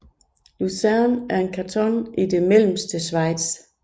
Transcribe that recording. Luzern er en kanton i det mellemste Schweiz